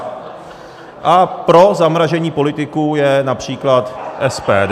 A pro zamražení politiků je například SPD.